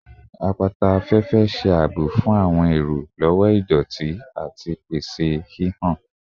Apata afẹfẹ ṣe aabo fun awọn ero lati idoti ati pese hihan